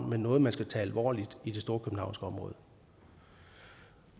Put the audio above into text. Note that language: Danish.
men noget man skal tage alvorligt i det storkøbenhavnske område